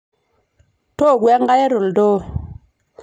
tooku enkare to ndoo